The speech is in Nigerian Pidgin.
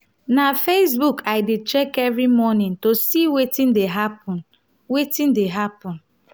na facebook i dey check every morning to see wetin dey happen. wetin dey happen.